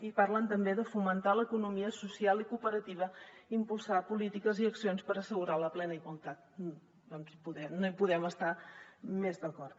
i parlen també de fomentar l’economia social i cooperativa i d’impulsar polítiques i accions per assegurar la plena igualtat doncs no hi podem estar més d’acord